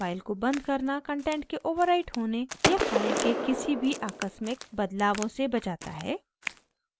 file को बंद करना कंटेंट के ओवरराइट होने या फाइल के किसी भी आकस्मिक बदलावों से बचाता है